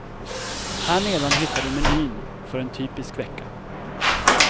Här nedan hittar du menyn för en typisk vecka.